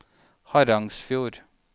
Harangsfjord